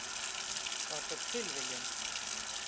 Var þetta tilviljun?